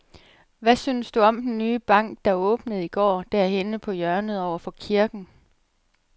Hvad synes du om den nye bank, der åbnede i går dernede på hjørnet over for kirken?